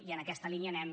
i en aquesta línia anem